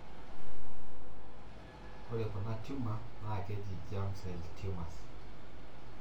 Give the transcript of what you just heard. Ore kuna tumor naa keji germ cell tumors.